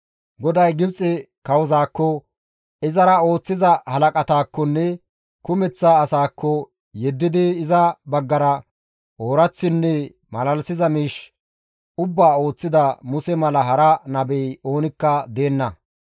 GODAY Gibxe kawozaakko, izara ooththiza halaqataakkonne kumeththa asaakko yeddidi iza baggara ooraththinne malalisiza miish ubbaa ooththida Muse mala hara nabey oonikka deenna.